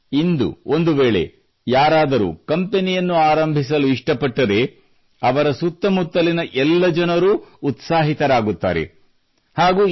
ಆದರೆ ಇಂದು ಒಂದು ವೇಳೆ ಯಾರಾದರೂ ಕಂಪೆನಿಯನ್ನು ಆರಂಭಿಸಲು ಇಷ್ಟಪಟ್ಟರೆ ಅವರ ಸುತ್ತಮುತ್ತಲಿನ ಎಲ್ಲ ಜನರೂ ಉತ್ಸಾಹಿತರಾಗುತ್ತಾರೆ